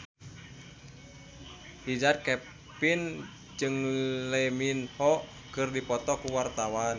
Richard Kevin jeung Lee Min Ho keur dipoto ku wartawan